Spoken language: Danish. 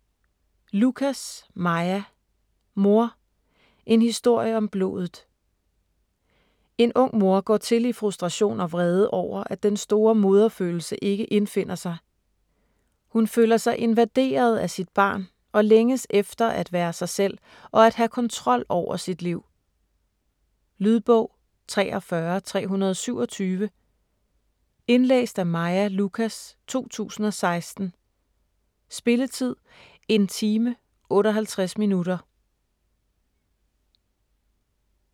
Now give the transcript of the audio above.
Lucas, Maja: Mor: en historie om blodet En ung mor går til i frustration og vrede over, at den store moderfølelse ikke indfinder sig. Hun føler sig invaderet af sit barn og længes efter at være sig selv og at have kontrol over sit liv. Lydbog 43327 Indlæst af Maja Lucas, 2016. Spilletid: 1 time, 58 minutter.